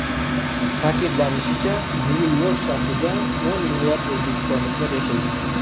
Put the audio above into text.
Ta’kidlanishicha, Nyu-York shahrida o‘n minglab o‘zbekistonliklar yashaydi.